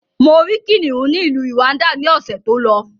Mo rí kìnnìún ni ìlú Rwanda ni ọ̀sẹ̀ tó lọ.